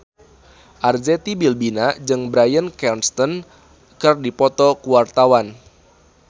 Arzetti Bilbina jeung Bryan Cranston keur dipoto ku wartawan